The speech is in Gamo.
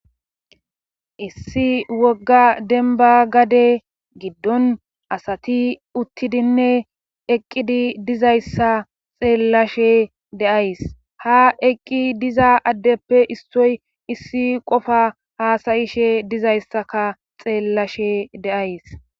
Issi wogga denba gade giddon asati uttidinne eqqidi dizayssa xeellashe deays ha eqqi diza addeppe issoy issi qofa haasayishe dizayssaka xeellashe de7ays.